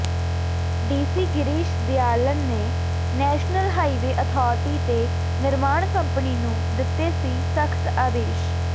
DC Girish Dayalan ਨੇ national highway authority ਤੇ ਨਿਰਮਾਣ ਕੰਪਨੀ ਨੂੰ ਦਿੱਤੇ ਸੀ ਸਖ਼ਤ ਆਦੇਸ਼